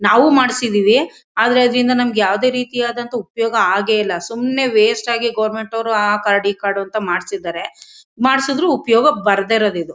ನಾವು ಮಾಡಿಸಿದ್ದಿವಿ ಆದರೆ ಅದರಿಂದ ನಮಗೆ ಯಾವುದೇ ರೀತಿಯಾದಂತ ಉಪಯೋಗ ಆಗೇ ಇಲ್ಲ ಸುಮ್ನೆ ವೇಸ್ಟ್ ಆಗಿ ಗವರ್ನಮೆಂಟ್ ನವರು ಆ ಕಾರ್ಡ್ ಈ ಕಾರ್ಡ್ ಅಂತ ಮಾಡಿಸಿದ್ದಾರೆ ಮಾಡಿಸಿದ್ರು ಉಪಯೋಗಕ್ಕೆ ಬರದೇ ಇರೋದು ಇದು.